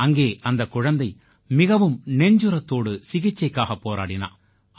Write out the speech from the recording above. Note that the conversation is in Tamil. அங்கே அந்தக் குழந்தை மிகவும் நெஞ்சுரத்தோடு சிகிச்சைக்காகப் போராடினா